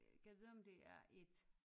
Gad vide om det er et